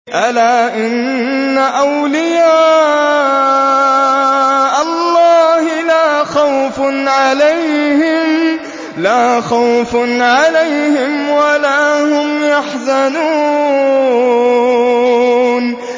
أَلَا إِنَّ أَوْلِيَاءَ اللَّهِ لَا خَوْفٌ عَلَيْهِمْ وَلَا هُمْ يَحْزَنُونَ